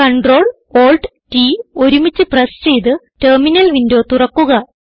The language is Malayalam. Ctrl Alt T ഒരുമിച്ച് പ്രസ് ചെയ്ത് ടെർമിനൽ വിൻഡോ തുറക്കുക